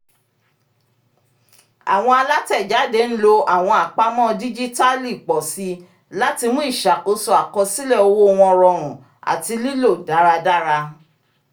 àwọn alátẹ̀jáde ń lò àwọn àpamọ́ díjítàlì pọ̀ síi láti mú iṣakoso àkọsílẹ̀ owó wọn rọrùn àti lílò dáradára